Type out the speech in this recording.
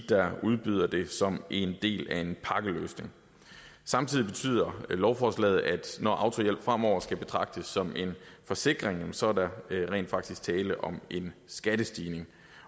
der udbyder den som en del af en pakkeløsning samtidig betyder lovforslaget at når autohjælp fremover skal betragtes som en forsikring så er der rent faktisk tale om en skattestigning